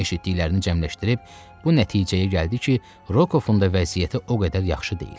Eşitdiklərini cəmləşdirib bu nəticəyə gəldi ki, Rokovun da vəziyyəti o qədər yaxşı deyil.